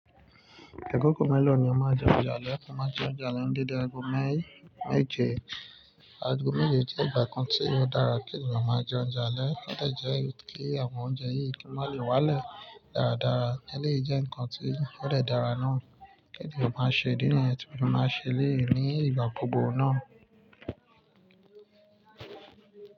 Akọ́kọ́ mẹ́lọ̀ ni ọ maa ajẹ́ oúnjẹ lalalè mo máa jẹ oúnjẹ alẹ́ dedẹ aago mẹ́je. Aago mẹ́je jẹ́ ìgbà kan tí ò dára kí ènìyàn máa jẹ oúnjẹ alẹ́. Kí ọdẹ jẹ́ kí àwọn oúnjẹ yìí kí wọ́n má lè wálẹ̀ dáradára eleyi jẹ́ ǹkan tí ọ dẹ dára náà kí ènìyàn máa ṣe. Idí niyen tí mo fi maa n ṣe eleyi ní ìgbà gbogbo náà.